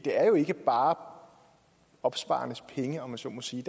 er jo ikke bare opsparernes penge om man så må sige